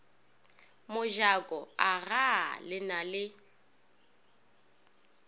mojako agaa le na le